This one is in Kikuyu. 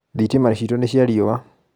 thitima citũ nĩ cia riũa.